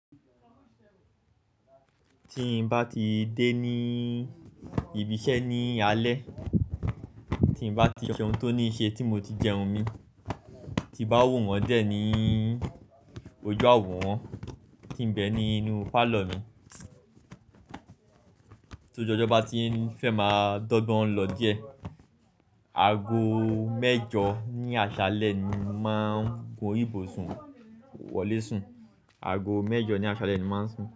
Tí n bá ti dé ní ibi iṣẹ́ ní alé, tí n bá ti ṣe ohun tó ní ṣe tí mo ti jẹun mi, tí bá wù wọ́n jẹ ní ojú àwọ̀ wọn, tí n bẹ ní inú pálọ̀ mi tó oju ọjọ bá ti fẹ́ máa dọ́gbọ́n lọ díẹ̀, aago mẹ́jọ ní aṣálẹ́ ni máa ń gun ibùsùn wọlé sùn. Aago mẹ́jọ ní aṣálẹ́ ni máa ń sùn.